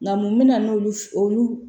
Nka mun bɛna n'olu olu